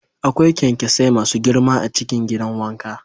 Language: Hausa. Akwai kyankyasai masu girma a cikin gidan wanka.